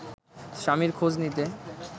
স্বামীর খোঁজ নিতে